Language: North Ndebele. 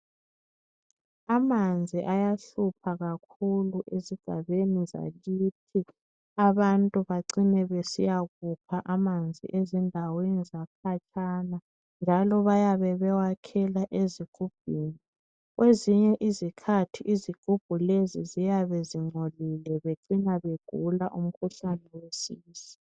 Amanzi ayahlupha kakhulu ezigabeni zakithi. Abantu bacine besiyakukha amanzi ezindaweni zakhatshana njalo bayabe bewakhela ezigubhini. Ezinye izikhathi izigubhu lezi ziyabe zingcolile begcina begula umkhuhlane wesisu.